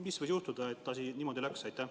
Mis võis juhtuda, et asi niimoodi läks?